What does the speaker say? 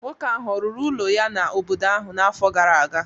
Nwoke ahụ ọ̀ rụrụ ụlọ ya n’obodo ahụ n’afọ gara aga?